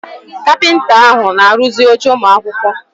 Kapịnta ahụ na-arụzi oche ụmụ akwụkwọ.